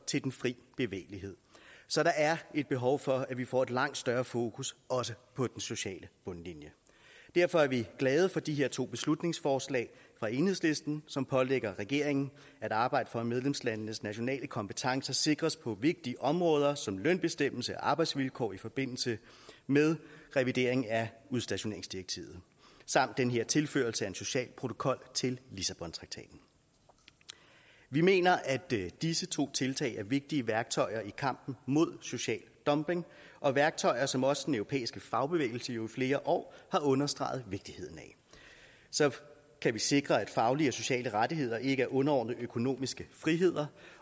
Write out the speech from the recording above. til den fri bevægelighed så der er et behov for at vi får et langt større fokus også på den sociale bundlinje derfor er vi glade for de her to beslutningsforslag fra enhedslisten som pålægger regeringen at arbejde for at medlemslandenes nationale kompetencer sikres på vigtige områder som lønbestemmelse og arbejdsvilkår i forbindelse med revideringen af udstationeringsdirektivet samt den her tilførelse af en social protokol til lissabontraktaten vi mener at disse to tiltag er vigtige værktøjer i kampen mod social dumping og værktøjer som også den europæiske fagbevægelse jo i flere år har understreget vigtigheden af så kan vi sikre at faglige og sociale rettigheder ikke er underordnet økonomiske friheder